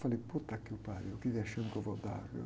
Falei, que vexame que eu vou dar.